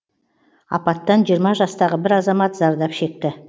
апаттан жиырма жастағы бір азамат зардап шекті